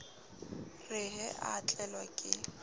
re he a tlelwa ke